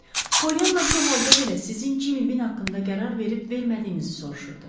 Pollyana bu halda belə sizin Cimmi Bin haqqında qərar verib-vermədiyinizi soruşurdu.